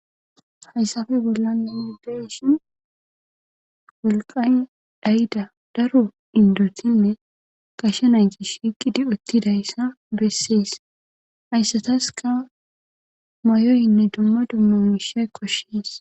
Hayssafe bolla naideshin wolqan dhayda daro indotinne kashe naygi shiiqidi uttidayssa bessees hayssataska mayoynne dumma dummumishay koshshees.